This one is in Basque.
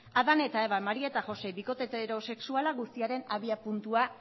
adán eta eva maría eta josé bikote heterosexuala guztiaren abiapuntua